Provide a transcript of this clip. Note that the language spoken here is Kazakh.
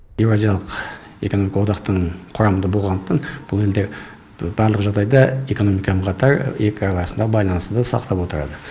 еуразиялық экономикалық одақтың құрамында болғандықтан бұл елдер барлық жағдайда экономикамен қатар екі ел арасындағы байланысты ды сақтап отырады